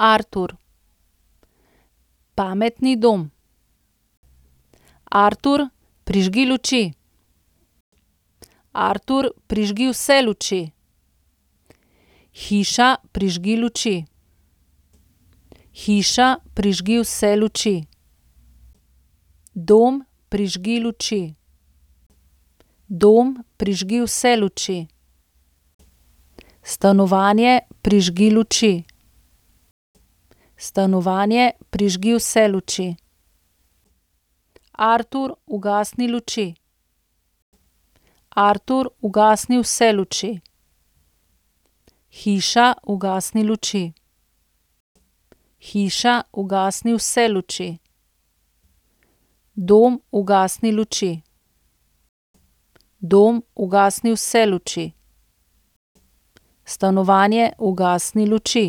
Artur. Pametni dom. Artur, prižgi luči. Artur, prižgi vse luči. Hiša, prižgi luči. Hiša, prižgi vse luči. Dom, prižgi luči. Dom, prižgi vse luči. Stanovanje, prižgi luči. Stanovanje, prižgi vse luči. Artur, ugasni luči. Artur, ugasni vse luči. Hiša, ugasni luči. Hiša, ugasni vse luči. Dom, ugasni luči. Dom, ugasni vse luči. Stanovanje, ugasni luči.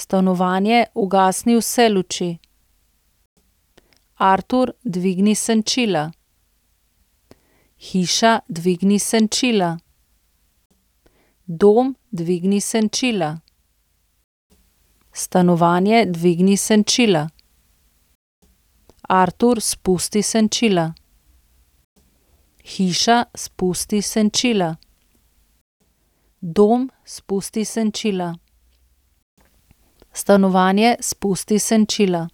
Stanovanje, ugasni vse luči. Artur, dvigni senčila. Hiša, dvigni senčila. Dom, dvigni senčila. Stanovanje, dvigni senčila. Artur, spusti senčila. Hiša, spusti senčila. Dom, spusti senčila. Stanovanje, spusti senčila.